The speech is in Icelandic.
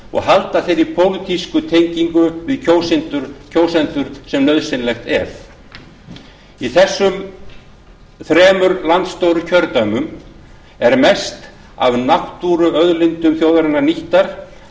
og halda þeirri pólitísku tengingu við kjósendur sem nauðsynleg er í þessum þremur landstóru kjördæmum er mest af náttúrulegum auðlindum þjóðarinnar nýttar